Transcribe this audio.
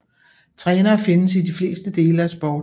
Trænere findes i de fleste dele af sport